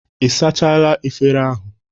Ị sachala efere ahụ?